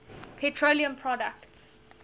petroleum products